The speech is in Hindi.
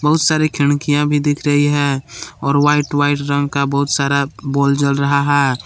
बहुत सारे खिड़कियां भी दिख रही है और व्हाइट व्हाइट रंग का बहुत सारा बोल जल रहा है।